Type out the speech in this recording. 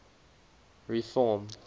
reform